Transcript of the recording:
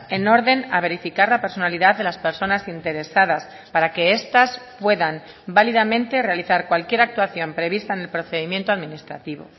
en orden a verificar la personalidad de las personas interesadas para que estas puedan válidamente realizar cualquier actuación prevista en el procedimiento administrativo